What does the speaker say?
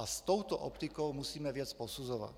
A s touto optikou musíme věc posuzovat.